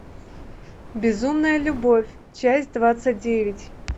безумная любовь часть двадцать девять